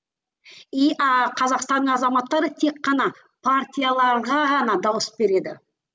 и ааа қазақстанның азаматтары тек қана партияларға ғана дауыс береді